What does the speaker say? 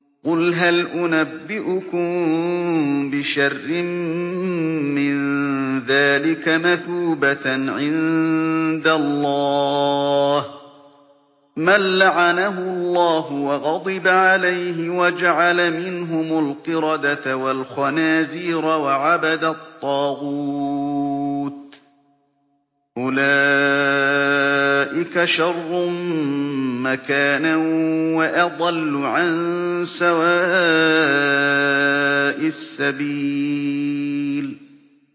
قُلْ هَلْ أُنَبِّئُكُم بِشَرٍّ مِّن ذَٰلِكَ مَثُوبَةً عِندَ اللَّهِ ۚ مَن لَّعَنَهُ اللَّهُ وَغَضِبَ عَلَيْهِ وَجَعَلَ مِنْهُمُ الْقِرَدَةَ وَالْخَنَازِيرَ وَعَبَدَ الطَّاغُوتَ ۚ أُولَٰئِكَ شَرٌّ مَّكَانًا وَأَضَلُّ عَن سَوَاءِ السَّبِيلِ